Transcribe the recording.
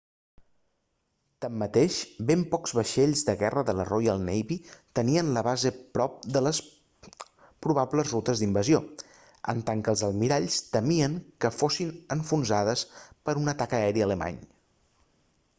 tanmateix ben pocs vaixells de guerra de la royal navy tenien la base prop de les probables rutes d'invasió en tant que els almiralls temien que fossin enfonsades per un atac aeri alemany